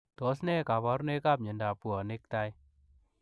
Tos ne kabarunoik ap miondoop puonik tai ?